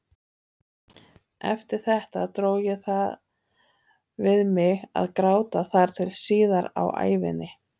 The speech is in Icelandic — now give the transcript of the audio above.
Eftir þetta dró ég það við mig að gráta þar til síðar á ævinni.